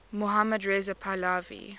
mohammad reza pahlavi